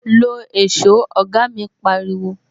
"Lo èsó "oga mi pariwo